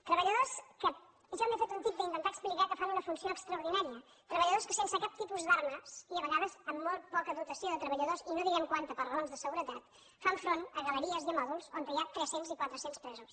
treballadors que jo m’he fet un tip d’intentar explicar que fan una funció extraordinària treballadors que sense cap tipus d’armes i a vegades amb molt poca dotació de treballadors i no direm quanta per raons de seguretat fan front a galeries i a mòduls on hi ha tres cents i quatre cents presos